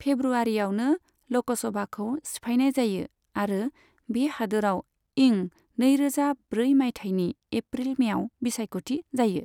फेब्रुवारिआवनो ल'कसभाखौ सिफायनाय जायो आरो बे हादोराव इं नैरोजा ब्रै माइथायनि एप्रिल मेआव बिसायख'थि जायो।